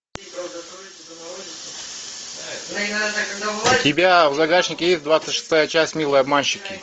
у тебя в загашнике есть двадцать шестая часть милые обманщики